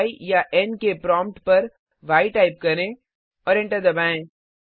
य याN के प्रोम्प्ट पर य टाइप करें और एंटर दबाएं